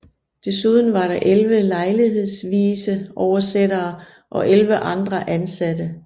Desuden var der 11 lejlighedsvise oversættere og 11 andre ansattte